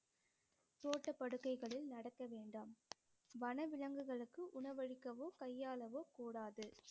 தோட்ட படுக்கைகளில் நடக்க வேண்டாம் வன விலங்குகளுக்கு உணவு அளிக்கவோ கையாளவோ கூடாது